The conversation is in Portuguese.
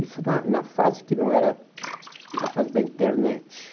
Isso na na fase que não era, na fase da internet.